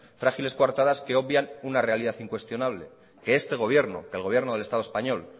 frágiles cuartadas que obvian una realidad incuestionable que este gobierno que el gobierno del estado español